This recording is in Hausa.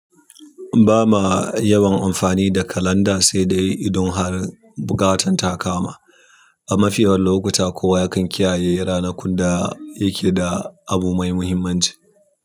Ba ma yawan amfani da kalanda sai dai idan har buƙatan ta kama. A mafi yawan lokuta, kowa yakan kiyaye ranakun da yake da abu mai muhimmanci.